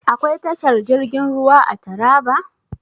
Akwai tashar jirgin ruwa a Taraba?